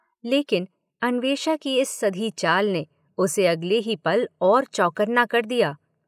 लेकिन अन्वेषा की इस सधी चाल ने उसे अगले ही पल और चौंकन्ना कर दिया।